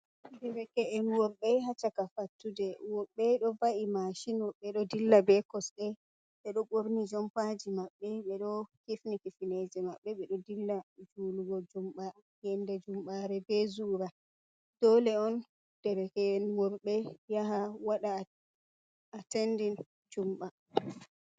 Derke'en worɓe haa caka fattude, woɓɓe ɗon wa'i masinji, woɓɓe ɗon dilla bee kosɗe, ɓeɗon ɓorni jompaaji maɓɓe, ɓeɗo hifni fineje maɓɓe, ɓeɗon dilla julugo yannde jumɓaare bee zura, dole on derke'en worɓe yaha waɗa attending jumɓa.